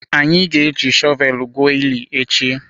Anyị ga-eji shọvel gwuo ili echi.